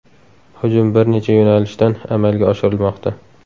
Hujum bir necha yo‘nalishdan amalga oshirilmoqda.